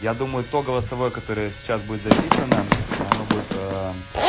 я думаю то голосовое которое сейчас будет записано оно будет